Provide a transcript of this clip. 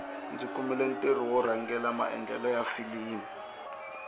ndzi kumile ntirho wo rhangela maendlelo ya filimi